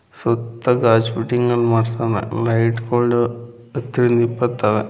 ಸುತ್ತ ಗಾಜು ಫಿಟ್ಟಿಂಗ್ ಅನ್ ಮಾಡಿಸ್ಕೊಂಡು ಹತ್ತರಿಂದ ಇಪ್ಪತ್ತು ಅವೆ.